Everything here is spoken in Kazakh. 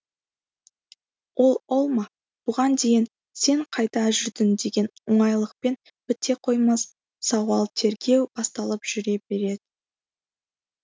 ол ол ма бұған дейін сен қайда жүрдің деген оңайлықпен біте қоймас сауал тергеу басталып жүре беретін